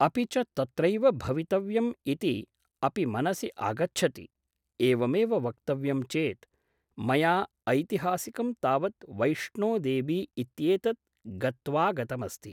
अपि च तत्रैव भवितव्यम् इति अपि मनसि आगच्छति एवमेव वक्तव्यं चेत् मया ऐतिहासिकं तावत् वैष्णोदेवी इत्येतत् गत्वागतमस्ति